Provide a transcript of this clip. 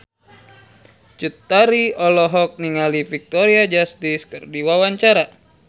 Cut Tari olohok ningali Victoria Justice keur diwawancara